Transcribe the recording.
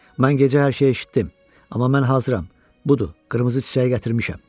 Mən gecə hər şeyi eşitdim, amma mən hazıram, budur, qırmızı çiçəyi gətirmişəm.